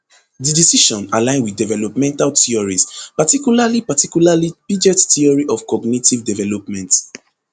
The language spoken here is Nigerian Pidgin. di decision align wit developmental theories particularly particularly piaget theory of cognitive development